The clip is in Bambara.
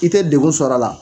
I tɛ degun sɔrɔ a la.